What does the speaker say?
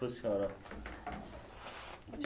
Para a senhora